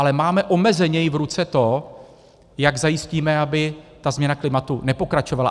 Ale máme omezeně v ruce to, jak zajistíme, aby ta změna klimatu nepokračovala.